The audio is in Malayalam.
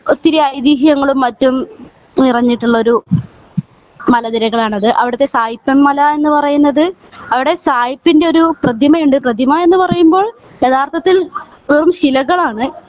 ഒത്തിരി അതീഹ്യങ്ങളും മറ്റും നിറഞ്ഞിട്ടുള്ളൊരു മലനിരകളാണത് അവിടത്തെ സായിപ്പൻ മല എന്ന് പറയുന്നത് അവിടെ സായിപ്പിൻ്റെ ഒരു പ്രതിമയുണ്ട് പ്രതുമാ എന്ന് പറയുമ്പോൾ യഥാർത്ഥത്തിൽ വെറും ശിലകൾ ആണ്